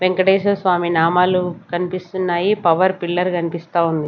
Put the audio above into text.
వెంకటేశ్వర స్వామి నామాలు కనిపిస్తున్నాయి power pillar కనిపిస్తా ఉంది.